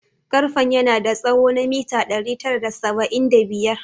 Karfen yana da tsawo na mita ɗari tara da saba'in da biyar